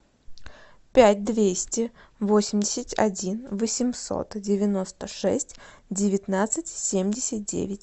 пять двести восемьдесят один восемьсот девяносто шесть девятнадцать семьдесят девять